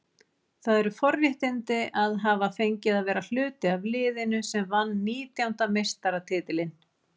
Það eru forréttindi að hafa fengið að vera hluti af liðinu sem vann nítjánda meistaratitilinn.